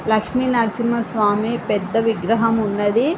లక్ష్మి నరసింహ స్వామి పెద్ద విగ్రహం ఉన్నదీ.